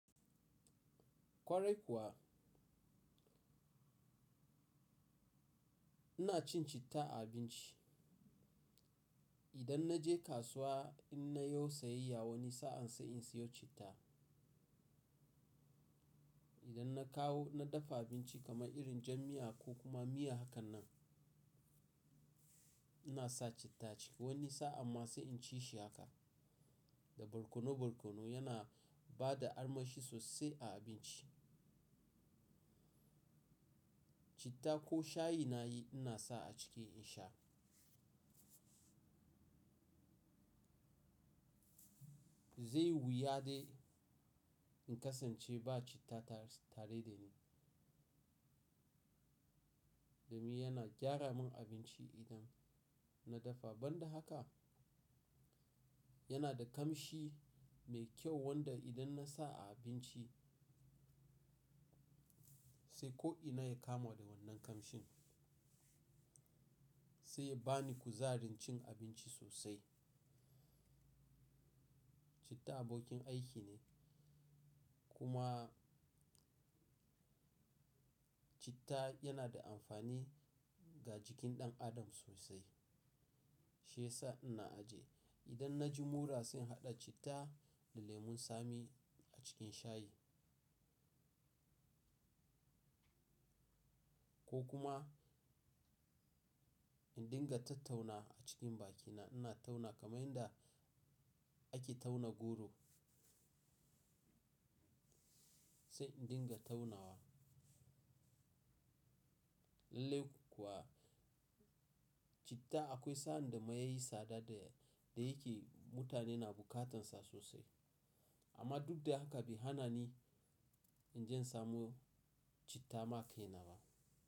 Kwarai kuwa ina cin citta a abinci. Idan na je kasuwa in na yo sayayya wani sa'an sai in siyo citta. Idan na kawo na dafa abinci kamar irin jam miya ko kuma miya hakan nan, ina sa citta ciki. Wani sa'a ma sai in ci shi haka, da barkono barkono yana ba da armashi sosai a abinci. Citta ko shayi na yi ina sa a ciki in sha. Zai wuyade in kasance ba citta tare da ni, domin yana gyara min abinci idan na dafa. Ban da haka, yana da kamshi mai kyau wanda idan na sa a abinci sai ko ina ya kama da wannan kamshin. Sai ya ba ni kuzarin cin abinci sosai. Citta abokin aiki ne kuma citta yana da amfani ga jikin ɗan adam sosai. Shiyasa ina ajiye idan na ji mura sun haɗa citta da lemon tsami a cikin shayi. Ko kuma in dinga tattauna a cikin bakina ina tauna kamar yadda ake tauna goro sai in dinga taunawa. Lallai kuwa citta akwai sa'anda ma ya yi tsada da yake mutane na bukatansa sosai. Amma duk da haka, bi hannani in jan samo citta ma kai na ba.